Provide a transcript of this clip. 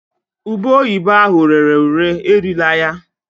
Ube oyibo ahụ rere ure erila ya